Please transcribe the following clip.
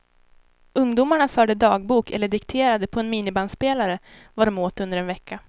Ungdomarna förde dagbok eller dikterade på en minibandspelare vad de åt under en vecka.